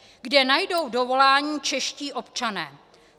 Kde najdou dovolání čeští občané?